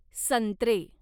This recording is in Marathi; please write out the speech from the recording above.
संत्रे